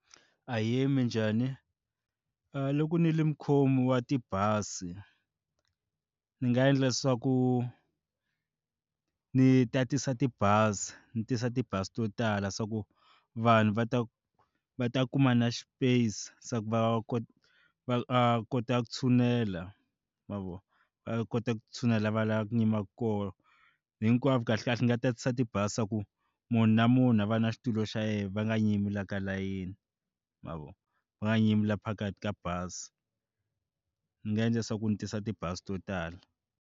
Ahee, minjhani? A loko nilo mukhomi wa tibazi ni nga endla swa ku ndzi tatisa tibazi ndzi tisa ti bazi to tala swa ku vanhu va ta va ta kuma na space ku va kona va kota ku tshunela ma vona va kota ku tshunela va lava ku yima koho hinkwavo kahlekahle nga tatisa ti bazi leswaku munhu na munhu a va na xitulu xa yena va nga nyimi la ka layeni ma vona va nga nyimi la phakathi ka bazi ndzi nga endla leswaku ndzi tisa ti bazi to tala.